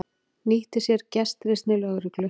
Nýtti sér gestrisni lögreglu